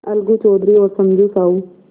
अलगू चौधरी और समझू साहु